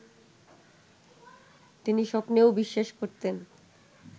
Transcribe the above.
তিনি স্বপ্নেও বিশ্বাস করতেন